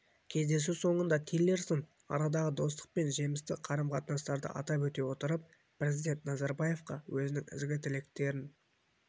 кездесу соңында тиллерсон арадағы достық пен жемісті қарым-қатынастарды атап өте отырып президент назарбаевқа өзінің ізгі тілектерін